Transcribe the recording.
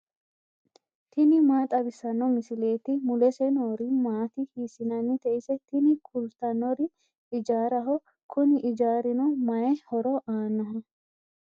tini maa xawissanno misileeti ? mulese noori maati ? hiissinannite ise ? tini kultannori ijaaraho. kuni ijaarino maayi horo aannoho?